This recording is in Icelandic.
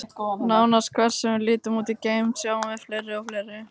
Nánast hvert sem við lítum út í geiminn, sjáum við fleiri og fleiri.